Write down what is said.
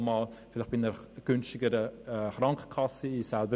Dies kann auch bei einer günstigeren Krankenkasse sein.